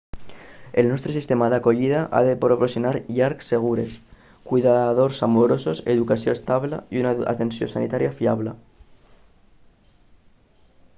el nostre sistema d'acollida ha de proporcionar llars segures cuidadors amorosos educació estable i una atenció sanitària fiable